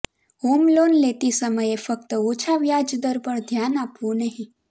home loan લેતી સમયે ફક્ત ઓછા વ્યાજ દર પર ધ્યાન આપવું નહીં